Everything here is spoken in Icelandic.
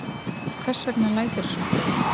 Hvers vegna læturðu svona, Friðrik?